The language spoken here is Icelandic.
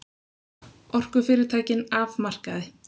Orkufyrirtækin af markaði